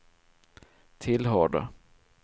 tillhörde